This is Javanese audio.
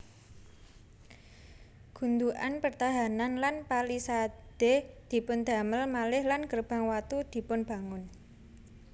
Gundukan pertahanan lan palisade dipundamel malih lan gerbang watu dipunbangun